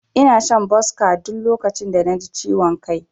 Ina shan Boska duk lokacin da naji ciwon kai.